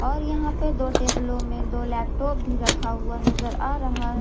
और यहां पे दो टेबलों में दो लैपटॉप भी रखा हुआ नजर आ रहा--